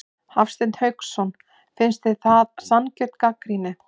Hafsteinn Hauksson: Finnst þér það sanngjörn gagnrýni?